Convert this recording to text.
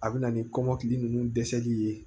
A bɛ na ni kɔmɔkili ninnu dɛsɛli ye